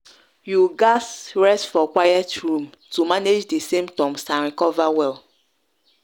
you gatz rest for quiet room to manage di symptoms and recover well.